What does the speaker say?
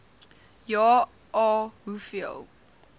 ja a hoeveel